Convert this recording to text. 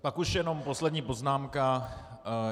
Pak už jenom poslední poznámka.